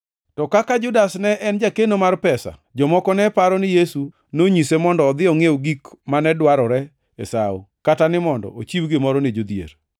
To kaka Judas ne en jakeno mar pesa, jomoko ne paro ni Yesu nonyise mondo odhi ongʼiew gik mane dwarore e sawo, kata ni mondo ochiw gimoro ni jodhier.